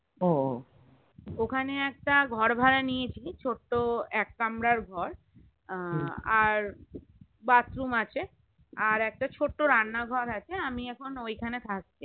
ও ওখানে একটা ঘর ভাড়া নিয়েছি ছোট্ট এক কামরার ঘর আহ আর bathroom আছে আর একটা ছোট্ট রান্নাঘর আছে আমি এখন ঐখানে থাকি